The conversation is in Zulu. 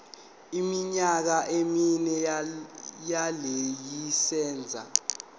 iminyaka emine yelayisense